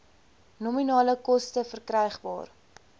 nominale koste verkrygbaar